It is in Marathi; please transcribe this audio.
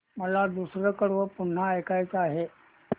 मला दुसरं कडवं पुन्हा ऐकायचं आहे